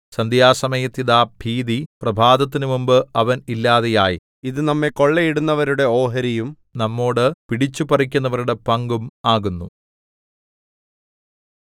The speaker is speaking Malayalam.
സന്ധ്യാസമയത്ത് ഇതാ ഭീതി പ്രഭാതത്തിനു മുമ്പ് അവൻ ഇല്ലാതെയായി ഇതു നമ്മെ കൊള്ളയിടുന്നവരുടെ ഓഹരിയും നമ്മോടു പിടിച്ചുപറിക്കുന്നവരുടെ പങ്കും ആകുന്നു